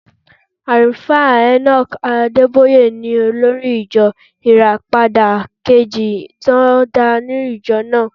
Àlùfáà Enoch Adébóyè ni olórí ìjọ Ìràpadà kejì tó ń darí ìjọ náà.